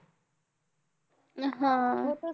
हा.